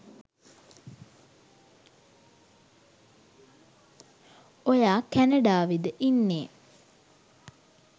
ඔයා කැනඩාවෙද ඉන්නෙ